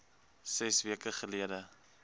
ses weke gelede